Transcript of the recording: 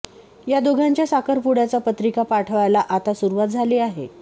या दोघांच्या साखरपुड्याच्या पत्रिका पाठवायला आता सुरुवात झाली आहे